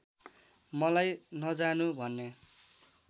मलाम नजानु भन्ने